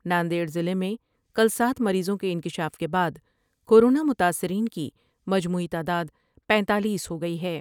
ناندیڑ ضلع میں کل سات مریضوں کے انکشاف کے بعد کورونا متاثرین کی مجموعی تعداد پینتالیس ہوگئی ہے ۔